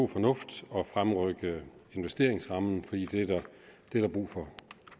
fornuft at fremrykke investeringsrammen for det er der brug for